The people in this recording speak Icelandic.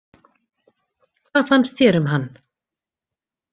Hvað fannst þér um hann?